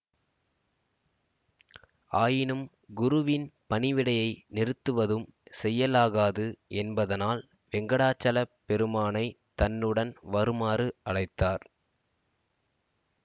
ஆயினும் குருவின் பணிவிடையை நிறுத்துவதும் செய்யலாகாது என்பதனால் வெங்கடாசலப் பெருமானைத் தன்னுடன் வருமாறு அழைத்தார்